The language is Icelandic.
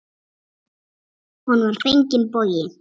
Honum var fenginn bogi.